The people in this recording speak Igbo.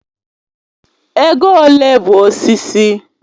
Ego ole bụ osisi?